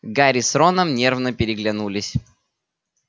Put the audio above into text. гарри с роном нервно переглянулись